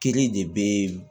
Kelen de bɛ